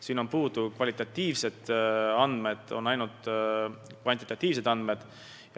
Selles on puudu kvalitatiivsed andmed, on ainult kvantitatiivsed andmed.